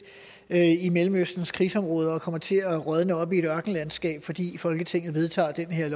i mellemøstens krigsområder og kommer til at rådne op i et ørkenlandskab fordi folketinget vedtager det her